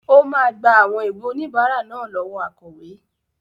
Ó máa gba àwọn ìwé oníbàárà náà lọ́wọ́ akọ̀wé.